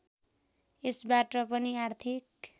यसबाट पनि आर्थिक